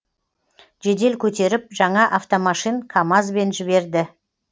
жедел көтеріп жаңа автомашин камазбен жіберді